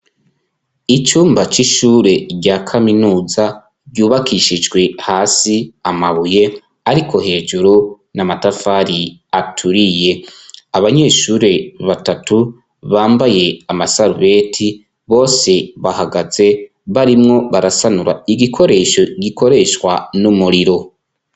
Icumba ry'ishure rya kaminuza ryubakishijwe hasi amabuye ariko hejuru n'amatafari aturiye, abanyeshure batatu bambaye amasarubeti bose bahagaze barimwo barasanura igikoresho gikoreshwa n'umuriro.